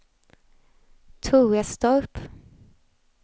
Torestorp